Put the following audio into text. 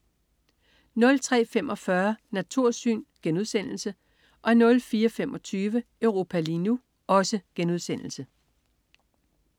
03.45 Natursyn* 04.25 Europa lige nu*